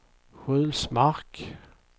Sjulsmark